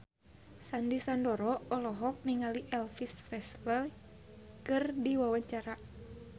Sandy Sandoro olohok ningali Elvis Presley keur diwawancara